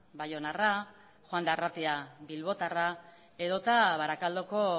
baionarra juan de arratia bilbotarra edo eta barakaldoko